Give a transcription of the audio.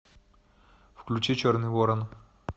включи черный ворон